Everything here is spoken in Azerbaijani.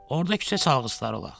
Orda küçə çalğıçıları olaq.